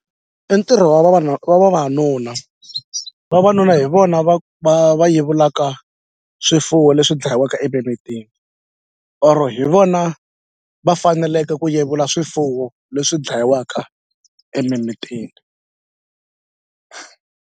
I ntirho wa wa vavanuna vavanuna hi vona va va va yevulaka swifuwo leswi dlayiwaka emimitini or hi vona va faneleke ku yevula swifuwo leswi dlayiwaka emimitini.